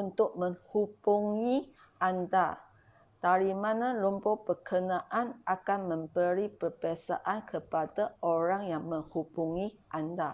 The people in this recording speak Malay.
untuk menghbungi anda dari mana nombor bekenaan akan memberi perbezaan kepada orang yang menghubungi anda